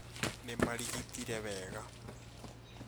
Nĩ marigitire wega